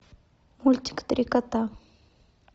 мультик три кота